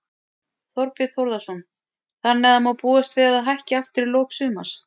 Þorbjörn Þórðarson: Þannig að má búast við að það hækki aftur í lok sumars?